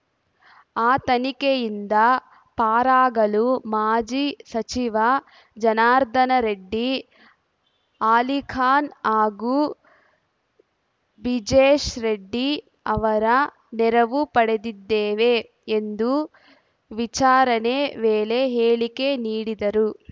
ಆ ತನಿಖೆಯಿಂದ ಪಾರಾಗಲು ಮಾಜಿ ಸಚಿವ ಜನಾರ್ದನ ರೆಡ್ಡಿ ಆಲಿಖಾನ್‌ ಹಾಗೂ ಬ್ರಿಜೇಶ್‌ ರೆಡ್ಡಿ ಅವರ ನೆರವು ಪಡೆದಿದ್ದೇವೆ ಎಂದು ವಿಚಾರಣೆ ವೇಳೆ ಹೇಳಿಕೆ ನೀಡಿದ ರು